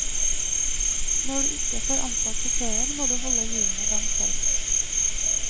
Når du ikke får ansatt sjåfører, må du holde hjulene i gang selv.